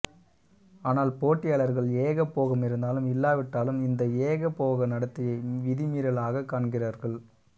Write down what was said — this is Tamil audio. ஆனால் போட்டியாளர்கள் ஏகபோகம் இருந்தாலும் இல்லாவிட்டாலும் இந்த ஏகபோக நடத்தையை விதிமீறலாக காண்கிறார்கள்